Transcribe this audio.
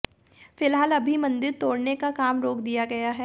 फिलहाल अभी मंदिर तोड़ने का काम रोक दिया गया है